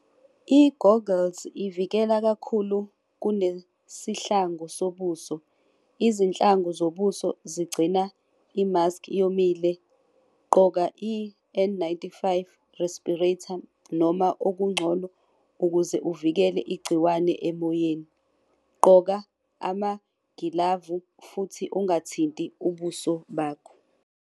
I-goggles ivikela kakhulu kunesihlangu sobuso. Izinhlangu zobuso zigcina i-mask yomile, gqoka i-N ninety-five respirator noma okungcono ukuze uvikele igciwane emoyeni. Gqoka amagilavu futhi ungathinti ubuso bakho.